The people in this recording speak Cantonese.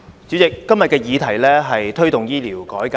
主席，今天的議題是"推動醫療改革"。